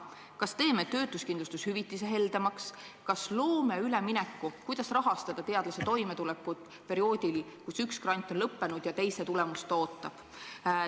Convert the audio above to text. Kas teeme töötuskindlustuse hüvitise heldemaks, kas loome ülemineku, kuidas rahastada teadlase toimetulekut perioodil, kui tal on üks grant lõppenud, aga teise tulemust ta alles ootab.